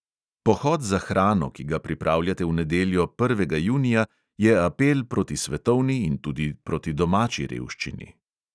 Pohod za hrano, ki ga pripravljate v nedeljo, prvega junija, je apel proti svetovni in tudi proti domači revščini.